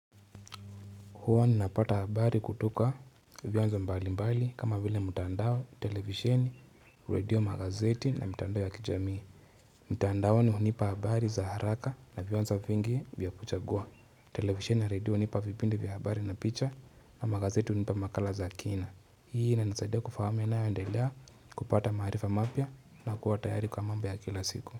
Huwa ninapata habari kutoka vianzo mbalimbali kama vile mutandao, televisheni, redio, magazeti na mitandao ya kijamii. Mutandaoni hunipa habari za haraka na vioanzo vingi vya kuchagua. Televisheni na redio hunipa vipindi vya habari na picha na magazeti hunipa makala za kina. Hii inanisaidia kufahamu yanayoendelea kupata maarifa mapya na kuwa tayari kwa mambo ya kila siku.